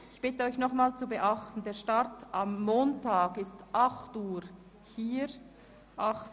Ich bitte Sie nochmals, zu beachten, dass wir am Montag um 08.00 Uhr beginnen.